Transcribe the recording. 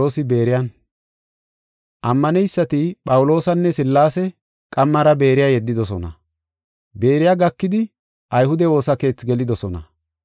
Ammaneysati Phawuloosanne Sillaase qammara Beeriya yeddidosona. Beeriya gakidi, ayhude woosa keethi gelidosona.